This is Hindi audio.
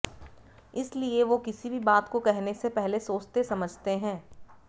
इसलिए वो किसी भी बात को कहने से पहले सोचते समझते है